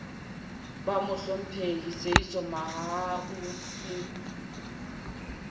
ba mohlomphehi seeiso mohai slp